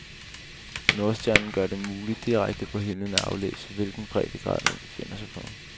Nordstjernen gør det muligt direkte på himlen at aflæse, hvilken breddegrad, man befinder sig på.